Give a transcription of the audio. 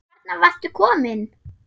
En þarna varstu komin!